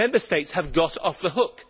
Member States have got off the hook.